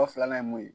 Dɔw filanan ye mun ye